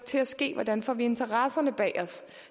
til at ske hvordan får vi interessenterne bag os